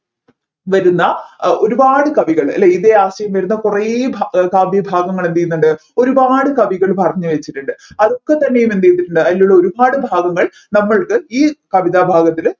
വരുന്ന ഒരുപാട് കവികൾ ഇതേ ആശയം വരുന്ന കുറെ കാവ്യഭാഗങ്ങൾ എന്ത് ചെയ്യുന്നുണ്ട് ഒരുപാട് കവികൾ പറഞ്ഞിവെച്ചിട്ടുണ്ട് അതൊക്കെ തന്നെ എന്ത് ചെയ്തിട്ടുണ്ട് അതിലുള്ള ഒരുപാട് ഭാവങ്ങൾ നമ്മൾക്ക് ഈ കവിതാഭാഗത്തിൽ